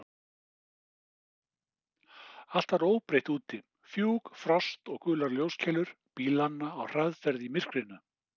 Allt var óbreytt úti: fjúk, frost og gular ljóskeilur bílanna á hraðferð í myrkrinu.